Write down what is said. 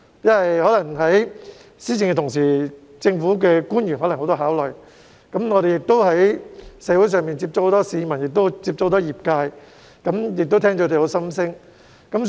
在施政的同時，政府官員可能有很多考慮，而我們在社會上亦會接觸很多市民和業界人士，聆聽他們的心聲。